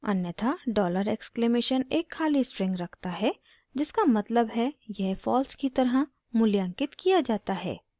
अन्यथा dollar exclamation $! एक खाली स्ट्रिंग रखता है जिसका मतलब है यह false की तरह मूल्यांकित किया जाता है